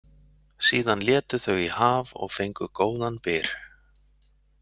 Síðan létu þau í haf og fengu góðan byr.